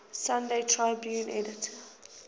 sunday tribune editor